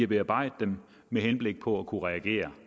bearbejde dem med henblik på at kunne reagere